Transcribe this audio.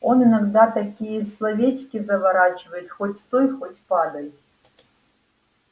он иногда такие словечки заворачивает хоть стой хоть падай